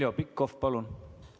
Heljo Pikhof, palun!